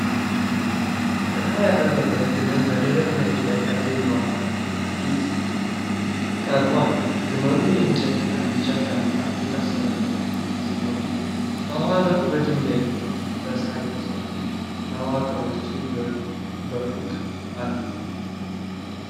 ጥላ ያረፈበት ግመል በደረቅ መሬት ላይ ከግንባር ፊት ቀርቦ አለ። ግመሉ የእንጨትና ቢጫ ሻንጣ የታሰረበት ሲሆን፣ ከኋላው በድንጋይና በሣር የተሠሩ መዋቅሮች በሩቅ አሉ።